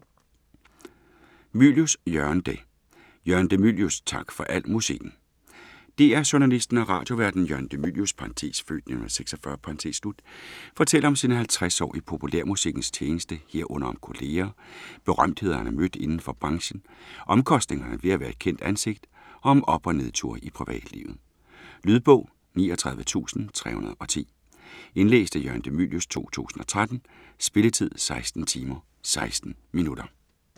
Mylius, Jørgen de: Jørgen de Mylius - tak for al musikken DR-journalisten og radioværten Jørgen de Mylius (f. 1946) fortæller om sine 50 år i populærmusikkens tjeneste herunder om kolleger, berømtheder han har mødt inden for branchen, omkostningerne ved at være et kendt ansigt og om op- og nedture i privatlivet. Lydbog 39310 Indlæst af Jørgen de Mylius, 2013. Spilletid: 16 timer, 16 minutter.